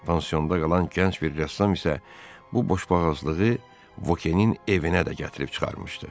Pansionda qalan gənc bir rəssam isə bu boşboğazlığı Vokenin evinə də gətirib çıxarmışdı.